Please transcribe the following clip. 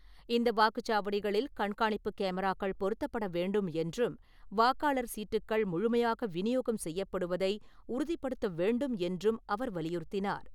இந்த வாக்குச்சாவடிகளில் கண்காணிப்பு கேமராக்கள் பொருத்தப்படவேண்டும் என்றும், வாக்காளர் சீட்டுக்கள் முழுமையாக வினியோகம் செய்யப்படுவதை உறுதிபடுத்தவேண்டும் என்றும் அவர் வலியுறுத்தினார்.